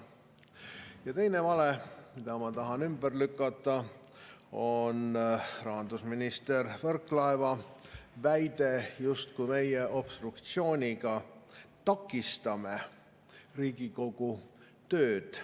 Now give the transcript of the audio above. Ja teine vale, mida ma tahan ümber lükata, on rahandusminister Võrklaeva väide, justkui meie obstruktsiooniga takistame Riigikogu tööd.